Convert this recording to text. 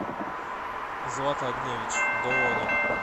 злата огневич долони